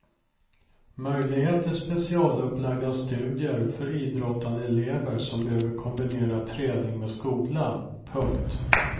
Möjlighet till specialupplagda studier för idrottande elever som behöver kombinera träning med skola. punkt